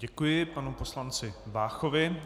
Děkuji panu poslanci Váchovi.